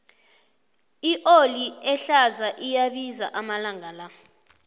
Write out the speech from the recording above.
ioli ehlaza iyabiza amalanga la